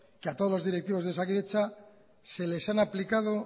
que a todos los directivos de osakidetza se les han aplicado